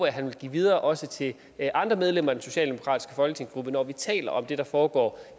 at han vil give videre også til andre medlemmer af den socialdemokratiske folketingsgruppe når vi taler om det der foregår